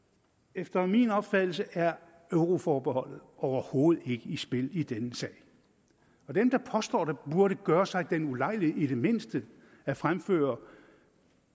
efter min opfattelse er euroforbeholdet overhovedet ikke i spil i denne sag dem der påstår det burde gøre sig den ulejlighed i det mindste at fremføre